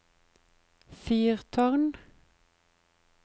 fyrtårn